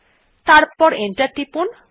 তারপর এন্টার টিপুন